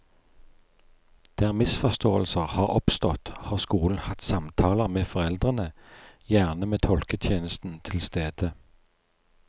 Der misforståelser har oppstått, har skolen hatt samtaler med foreldrene, gjerne med tolketjenesten til stede.